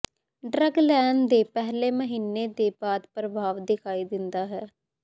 drug ਲੈਣ ਦੇ ਪਹਿਲੇ ਮਹੀਨੇ ਦੇ ਬਾਅਦ ਪ੍ਰਭਾਵ ਦਿਖਾਈ ਦਿੰਦਾ ਹੈ